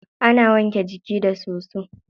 Ana wanke jiki da soso.